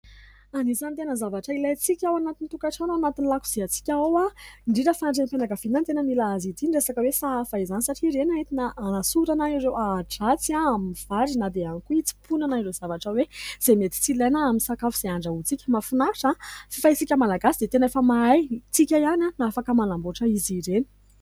Anisany tena zavatra ilaintsika ao anatin' ny tokatrano ao anatin' ny lakoziantsika ao indrindra fa renim-pianakaviana ny tena mila azy ity. Ny resaka hoe sahafa izany satria ireny no entina hanasorana ireo ahi-dratsy ao amin' ny vary na dia ihany koa hitsimponana ireo zavatra hoe izay mety tsy ilaina amin' ny sakafo izay andrahontsika. Mahafinaritra fa isika malagasy dia tena efa mahay, tsika ihany dia afaka manamboatra izy ireny.